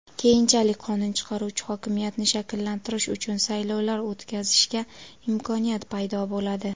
Keyinchalik qonun chiqaruvchi hokimiyatni shakllantirish uchun saylovlar o‘tkazishga imkoniyat paydo bo‘ladi.